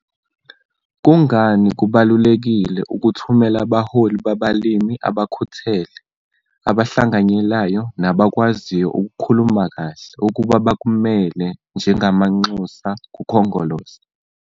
Kungani kubalulekile ukuthumela abaholi babalimi abakhuthele, abahlanganyelayo nabakwaziyo ukukhuluma kahle ukuba bakumele njengamanxusa kuKhongolose?